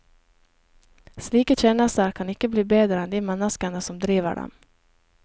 Slike tjenester kan ikke bli bedre enn de menneskene som driver dem.